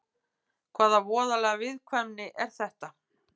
Hvaða voðaleg viðkvæmni er þetta?